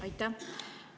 Aitäh!